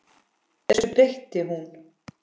Þessu breytti hún.